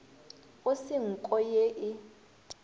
go se nko ye e